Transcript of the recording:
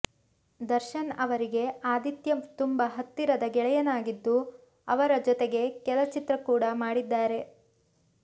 ದರ್ಶನ್ ಅವರಿಗೆ ಆದಿತ್ಯ ತುಂಬ ಹತ್ತಿರದ ಗೆಳೆಯನಾಗಿದ್ದು ಅವರ ಜೊತೆಗೆ ಕೆಲ ಚಿತ್ರ ಕೂಡ ಮಾಡಿದ್ದಾರೆ